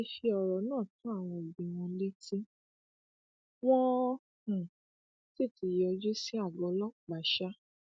a ti fi ọrọ náà tó àwọn òbí wọn létí wọn um sì ti yọjú sí àgọ ọlọpàá um